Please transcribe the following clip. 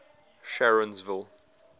sharonsville